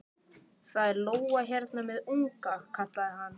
Það er lóa hérna með unga, kallaði hann.